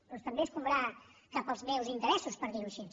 doncs també escombrar cap als meus interessos per dir ho així